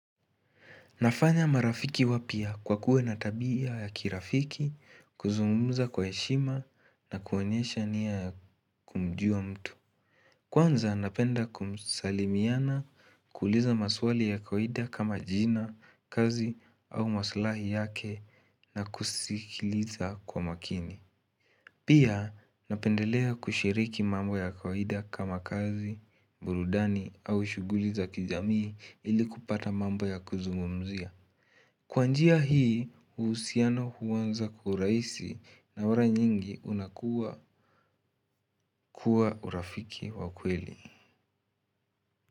Nafanya marafiki wapya kwa kuwa na tabia ya kirafiki, kuzungumza kwa heshima na kuonyesha nia ya kumjua mtu. Kwanza napenda kumsamiana kuuliza maswali ya kawaida kama jina kazi au maslahi yake na kusikiliza kwa makini. Pia napendelea kushiriki mambo ya kawaida kama kazi, burudani au shuguliza kijamii ili kupata mambo ya kuzungumzia. Kwa njia hii usiano huwanza kiuraisi na mala nyingi unakuwa kuwa urafiki wakweli.